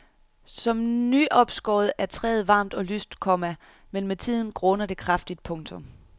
Som nyopskåret er træet varmt og lyst, komma men med tiden gråner det kraftigt. punktum